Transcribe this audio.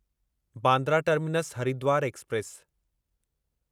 Bandra terminus Haridwar express